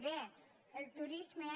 bé el turisme